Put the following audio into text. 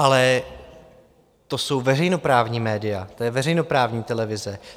Ale to jsou veřejnoprávní média, o je veřejnoprávní televize!